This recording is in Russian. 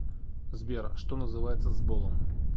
сбер что называется сболом